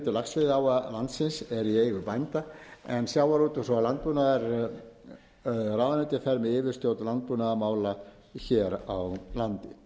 laxveiðiáa landsins er í eigu bænda en sjávarútvegs og landbúnaðarráðuneytið fer með yfirstjórn landbúnaðarmála hér á landi